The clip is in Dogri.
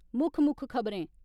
मुक्ख मुक्ख खबरें